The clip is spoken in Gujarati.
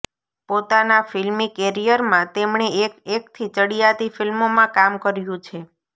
પોતાના ફિલ્મી કેરિયરમાં તેમણે એક એકથી ચડીયાતી ફિલ્મોમાં કામ કર્યુ છે